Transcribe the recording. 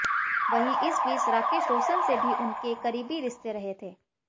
वहीं इस बीच राकेश रोशन से भी उनके करीबी रिश्ते रहे थे